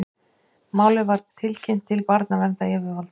Málið var tilkynnt til barnaverndaryfirvalda